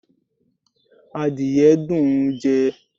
Àdìye dùn ún jẹ